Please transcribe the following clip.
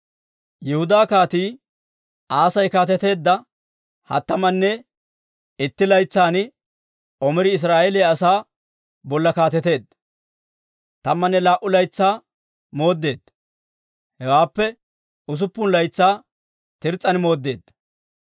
Yihudaa Kaatii Asay kaateteedda hattamanne ittentsa laytsan Omiri Israa'eeliyaa asaa bolla kaateteedda. Tammanne laa"u laytsaa mooddeedda; hewaappe usuppun laytsaa Tirs's'an mooddeedda.